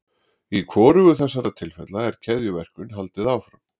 Í hvorugu þessara tilfella er keðjuverkun haldið áfram.